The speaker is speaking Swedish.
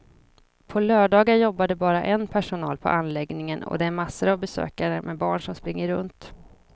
På lördagar jobbar det bara en personal på anläggningen och det är massor av besökare med barn som springer runt.